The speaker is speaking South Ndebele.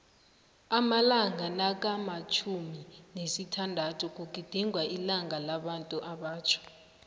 amalanga nakamtjhumi nesithandathu kugidingwa ilanga labantuabatjha